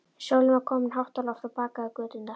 Sólin var komin hátt á loft og bakaði göturnar.